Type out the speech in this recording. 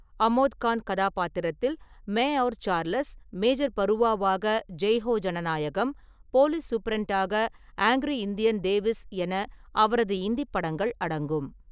அமோத் காந்த் கதாபாத்திரத்தில் Main Aur Charles, major பருவாவாக ஜெய் ஹோ ஜனநாயகம், போலீஸ் சூப்பிரண்டாக ஆங்ரி இந்தியன் தேவிஸ் என அவரது இந்திப் படங்கள் அடங்கும்.